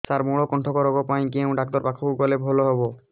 ସାର ମଳକଣ୍ଟକ ରୋଗ ପାଇଁ କେଉଁ ଡକ୍ଟର ପାଖକୁ ଗଲେ ଭଲ ହେବ